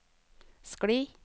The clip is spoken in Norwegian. skli